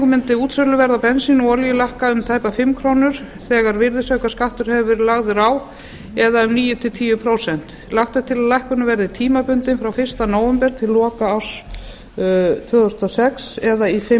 mundi útsöluverð á bensíni og olíu lækka um tæpar fimm krónur þegar virðisaukaskattur hefur verið lagður á eða um níu til tíu prósent lagt er til að lækkunin verði tímabundin frá fyrsta nóvember næstkomandi til loka mars tvö þúsund og sex eða í fimm